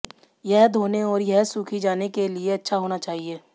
यह धोने और यह सूखी जाने के लिए अच्छा होना चाहिए